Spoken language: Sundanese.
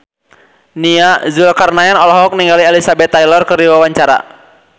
Nia Zulkarnaen olohok ningali Elizabeth Taylor keur diwawancara